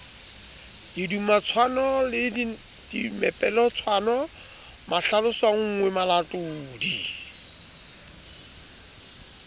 didumatshwano le mepeletotshwano mahlalosonngwe malatodi